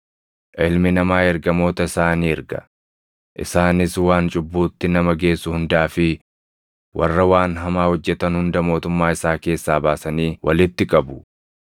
Ilmi Namaa ergamoota isaa ni erga; isaanis waan cubbuutti nama geessu hundaa fi warra waan hamaa hojjetan hunda mootummaa isaa keessaa baasanii walitti qabu.